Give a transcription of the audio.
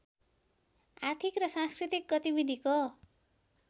आर्थिक र सांस्कृतिक गतिविधिको